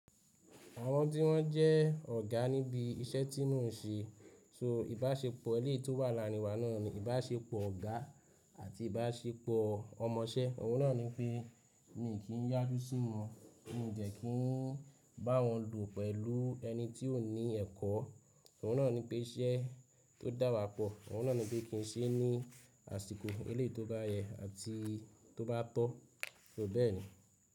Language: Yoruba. Àwọn tí wọ́n jẹ́ ọ̀gá níbi iṣẹ́ tí mò ń ṣe, so ìbáṣepọ̀ ilé tó wà láàrin wa náà ni ìbáṣepọ̀ ọ̀gá àti ìbáṣepọ̀ ọmọṣẹ́. Òun náà ní pé, mi kì í yájú sí wọn, mo jẹ̀ kí n bá wọn lù pẹ̀lú ẹni tí ò ní ẹ̀kọ́. Òun náà ní pé iṣẹ́ tó dà wá pọ̀, òun náà ní pé kí n ṣe é ní àsìkò eléyìí tó bá yẹ àti tó bá tọ́, ló bẹ́ẹ̀ ni.